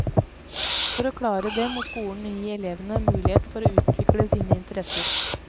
For å klare det må skolen gi elevene mulighet for å utvikle sine interesser.